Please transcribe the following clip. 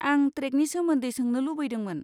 आं ट्रेकनि सोमोन्दै सोंनो लुबैदोंमोन।